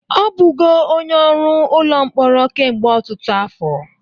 Ọ bụgo onye ọrụ ụlọ mkpọrọ kemgbe ọtụtụ afọ